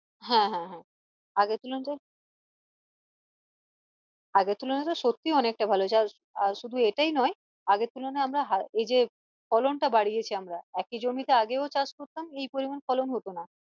হ্যাঁ হ্যাঁ হ্যাঁ আগের তুলনায় আগের তুলনাতে সত্যি অনেকটা ভালো হয়েছে আর শুধু এইটাই নই আগের তুলনায় আমরা এইযে ফলন টা বাড়িয়েছি আমরা একই জমিতে আগেও চাষ করতাম এই পরিমান ফলন হতো না